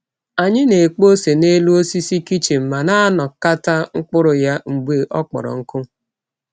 Anyị na-ekpo ose n’elu osisi kichin ma na-anakọta mkpụrụ ya mgbe ọ kpọrọ nkụ.